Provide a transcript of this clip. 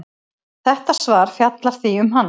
Þetta svar fjallar því um hann.